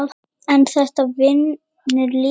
en þetta vinnur líka.